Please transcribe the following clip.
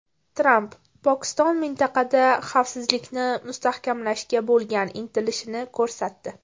Tramp: Pokiston mintaqada xavfsizlikni mustahkamlashga bo‘lgan intilishini ko‘rsatdi.